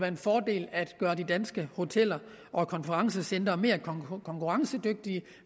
en fordel at gøre de danske hoteller og konferencecentre mere konkurrencedygtige